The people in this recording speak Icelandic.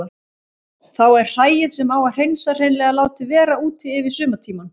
Þá er hræið sem á að hreinsa hreinlega látið vera úti yfir sumartímann.